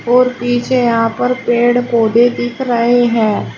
और पीछे यहां पर पेड़ पौधे दिख रहे हैं।